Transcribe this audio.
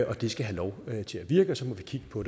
og det skal have lov til at virke og så må vi kigge på